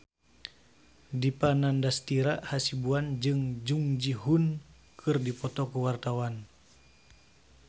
Dipa Nandastyra Hasibuan jeung Jung Ji Hoon keur dipoto ku wartawan